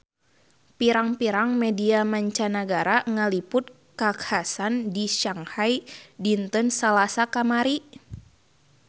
Pirang-pirang media mancanagara ngaliput kakhasan di Shanghai dinten Salasa kamari